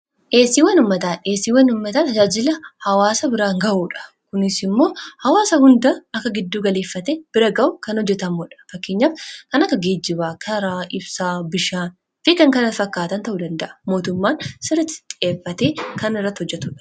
eesii wanummataa dheesii wanummataa tajaajila hawaasa biraan ga'uudha kunis immoo hawaasa hundaa akka gidduu galeeffate bira ga'u kan hojjetammodha fakkenyaaf kan akka geejibaa karaa ibsa bishaan fi kan kana fakkaatan ta'u danda'a mootummaan siratti xeeffate kan irratti hojjatudha